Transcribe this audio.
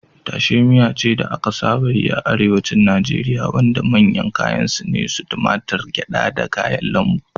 Taushe miya ce da aka saba yi a Arewacin Najeriya wanda manyan kayan su ne tumatur, gyada, da kayan lambu.